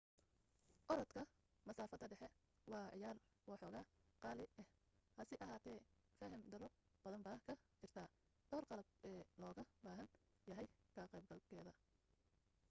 orodka masaafada dhexe waa ciyaar waxooga qaali ah hase ahaatee faham darro badan baa ka jirta dhowr qalab ee looga baahan yahay ka qayb galkeeda